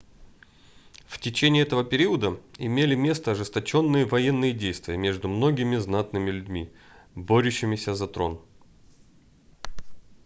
в течение этого периода имели место ожесточенные военные действия между многими знатными людьми борющимися за трон